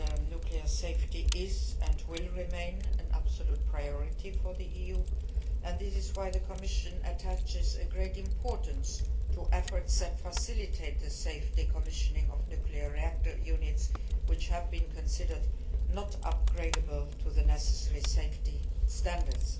Nuclear safety is, and will remain, an absolute priority for the EU, and this is why the Commission attaches great importance to efforts that facilitate the safe decommissioning of nuclear reactor units that have been deemed not to be upgradeable to the necessary safety standards.